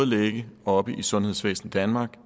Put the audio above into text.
ligge oppe i sundhedsvæsen danmark og